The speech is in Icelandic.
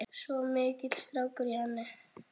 Svo mikill strákur í henni.